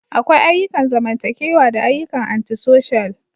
Akwai ayyukan zamantakewa da ayyukan Anti-social.